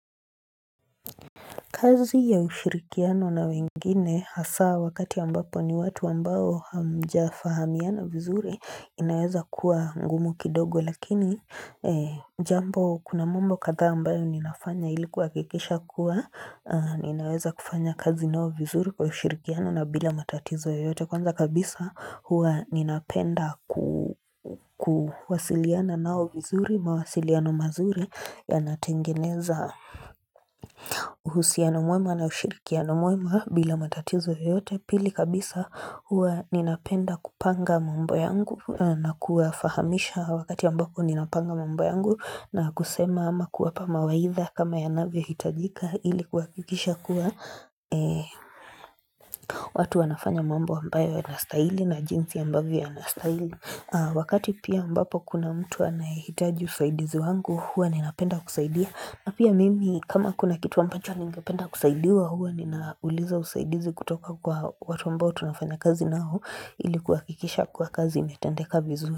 Kazi ya ushirikiano na wengine hasa wakati yambapo ni watu wambao hamja fahamiana vizuri inaweza kuwa ngumu kidogo lakini jambo kuna mambo katha ambayo ninafanya ilikuwakikisha kuwa ninaweza kufanya kazi nao vizuri kwa ushirikiano na bila matatizo yote kwanza kabisa huwa ninapenda kuwasiliana nao vizuri mawasiliano mazuri yanatengeneza uhusiano muema na ushirikiano muema bila matatizo yoyote pili kabisa huwa ninapenda kupanga mambo yangu na kuafahamisha wakati ambapo ninapanga mambo yangu na kusema ama kuapa mawaidha kama yanavyo hitajika ili kwakikisha kuwa watu wanafanya mambo ambayo yanastaili na jinzi ambavyo yanastaili wakati pia ambapo kuna mtu anahitaji usaidizi wangu huwa ninapenda kusaidia Apia mimi kama kuna kitu ampancho niingependa kusaidiwa huwa ninauliza usaidizi kutoka kwa watu ambao tunafanya kazi nao ilikuwa kwakikisha kuwa kazi imetendeka vizuri.